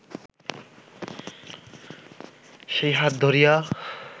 সেই হাত ধরিয়া